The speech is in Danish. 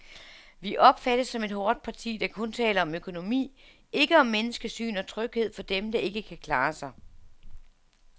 Vi opfattes som et hårdt parti, der kun taler om økonomi, ikke om menneskesyn og tryghed for dem, der ikke kan klare sig.